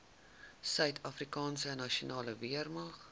suidafrikaanse nasionale weermag